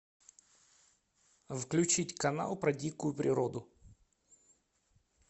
включить канал про дикую природу